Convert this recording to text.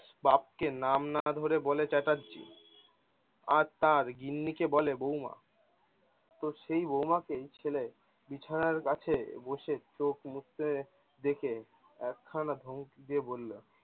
বাবকে নাম না ধরে বলে চেটারজি। আর তার গিন্নিকে বলে বৌমা। তো সেই বৌমাকেই ছেলে বিছানার কাছে বসে চোখ মুছেতে দেখে একখানা ধমকি দিয়ে বললো